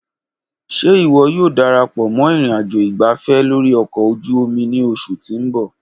Ṣe iwọ yoo darapọ mọ ìnrìnàjò ìgbáfẹ́ lórí ọkọ̀ ojú omi ni oṣu ti n bọ?